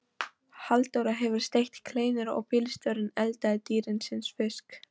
Halldóra hefur steikt kleinur og bílstjórinn eldað dýrindis fisk.